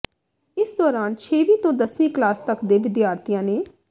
ਇਸ ਦੌਰਾਨ ਛੇਵੀਂ ਤੋਂ ਦਸਵੀਂ ਕਲਾਸ ਤੱਕ ਦੇ ਵਿਦਿਆਰਥੀਆਂ ਨੇ